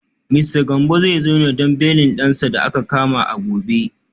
Mista Gambo zai zo ne don belin dansa da aka kama a gobe